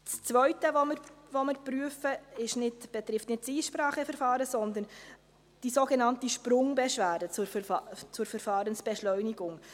Das Zweite, das wir prüfen, betrifft nicht das Einspracheverfahren, sondern die sogenannte Sprungbeschwerde zur Verfahrensbeschleunigung.